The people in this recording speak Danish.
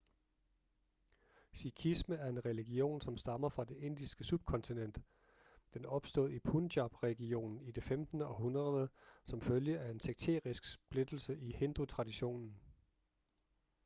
sikhisme er en religion som stammer fra det indiske subkontinent den opstod i punjab-regionen i det 15. århundrede som følge af en sekterisk splittelse i hindutraditionen